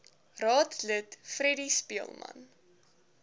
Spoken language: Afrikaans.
raadslid freddie speelman